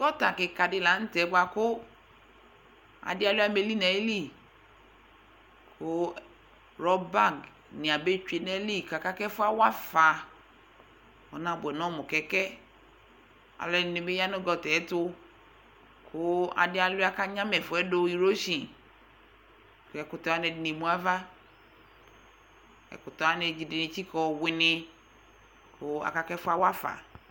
Gɔta kɩka dɩ la nʋ tɛ bʋa kʋ adɩ alʋɩa mɛ eli nʋ ayili kʋ rɔbanɩ abetsue nʋ ayili kʋ aka kʋ ɛfʋ yɛ awa afa Ɔnabʋɛ nʋ ɔmʋ kɛkɛ Alʋɛdɩnɩ bɩ ya nʋ gɔta yɛ tʋ kʋ adɩ alʋɩa kʋ anyama ɛfʋ yɛ dʋ irosin kʋ ɛkʋtɛ wanɩ ɛdɩnɩ emu ava ɛkʋtɛ wanɩ ɛdɩnɩ etsikǝ ɔwɩnɩ kʋ aka kʋ ɛfʋ yɛ awa afa